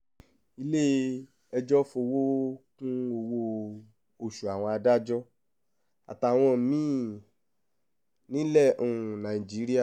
ilé-ẹjọ́ fọwọ́ kún ọwọ́-oṣù àwọn adájọ́ àtàwọn mí-ín nílẹ̀ um nàìjíríà